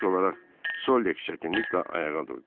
İlk olaraq Solek çətinliklə ayağa durdu.